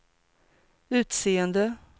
utseende